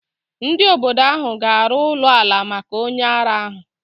Ndị obodo ahụ ga-arụ ụlọ ala maka onye ara ahu.